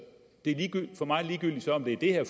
ligegyldigt om det er det